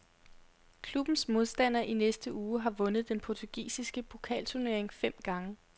Klubbens modstander i næste uge har vundet den portugisiske pokalturnering fem gange.